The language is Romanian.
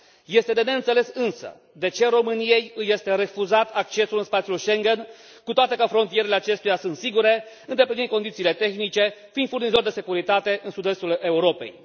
Este de neînțeles însă de ce României îi este refuzat accesul în spațiul Schengen, cu toate că frontierele acesteia sunt foarte sigure, îndeplinind condițiile tehnice, fiind furnizor de securitate în sud estul Europei.